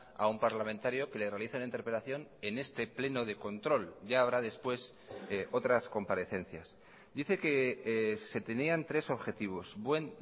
a un parlamentario que le realiza una interpelación en este pleno de control ya habrá después otras comparecencias dice que se tenían tres objetivos buen